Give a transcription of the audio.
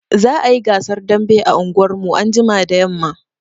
Za a yi gasar dambe a unguwarmu anjima da yamma